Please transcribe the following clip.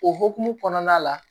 O hukumu kɔnɔna la